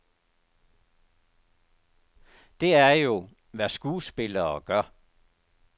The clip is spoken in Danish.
Det er jo, hvad skuespillere gør.